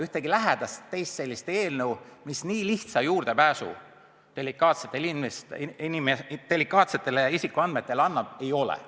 Ühtegi teist sellist seadust, mis nii lihtsa juurdepääsu delikaatsetele isikuandmetele annab, ei ole.